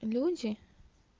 люди